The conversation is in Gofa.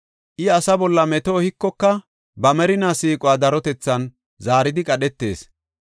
I asa bolla meto ehikoka, ba merina siiquwa darotethan zaaridi qadhetees.